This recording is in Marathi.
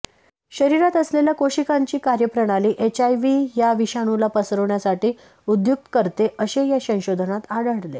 शरीरात असलेल्या कोशिकांची कार्यप्रणाली एचआयव्ही या विषाणूला पसरण्यासाठी उद्युक्त करते असे या संशोधनात आढळले